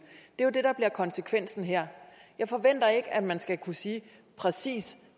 er konsekvensen her jeg forventer ikke at man skal kunne sige præcis